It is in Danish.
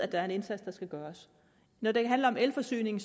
der en indsats der skal gøres når det handler om elforsyning